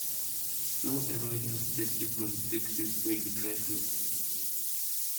no ever use dirty broom take sweep where you dry food